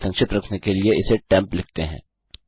इसे संक्षिप्त रखने के लिए इसे टेम्प लिखते हैं